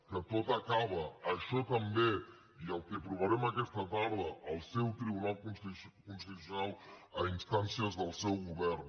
que tot acaba això també i el que aprovarem aquesta tarda al seu tribunal constitucional a instàncies del seu govern